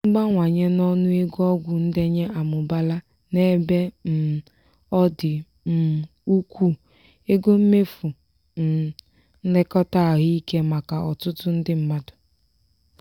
mbawanye n'ọnụ ego ọgwụ ndenye amụbaala n'ebe um ọ dị um ukwuu ego mmefụ um nlekọta ahụike maka ọtụtụ ndị mmadụ.